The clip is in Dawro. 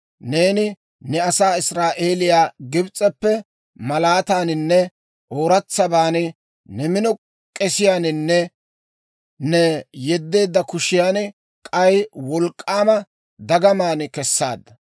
Neeni ne asaa Israa'eeliyaa Gibs'eppe malaataaninne ooratsaban, ne mino k'esiyaaninne ne yeddeedda kushiyan, k'ay wolk'k'aama dagamaan kessaadda.